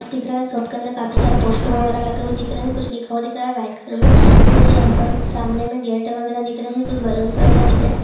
दिख रहा है। शॉप के अंदर काफी सारे पोस्टर वगैरह लगे हुए दिख रहे हैं। कुछ लिखा हुआ दिख रहा है व्हाइट कलर में। कुछ यहां पर सामने में गेट वगैरह दिख रहे हैं। कुछ बलूंस वगैरह दिख रहे हैं।